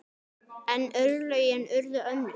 En örlögin urðu önnur.